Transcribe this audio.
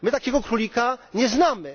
My takiego królika nie znamy.